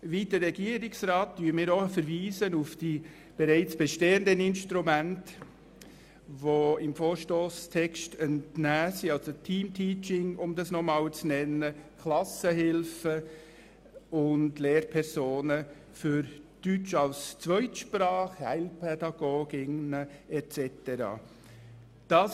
Wie der Regierungsrat verweisen wir auf die bereits bestehenden Instrumente, wie etwa Teamteaching, Klassenhilfen sowie Lehrpersonen für Deutsch als Zweitsprache (DaZ), Heilpädagoginnen und so weiter.